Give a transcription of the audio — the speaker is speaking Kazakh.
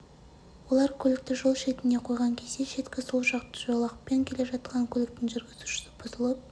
олар көлікті жол шетіне қойған кезде шеткі сол жақ жолақпен келе жатқан көліктің жүргізушісі бұзылып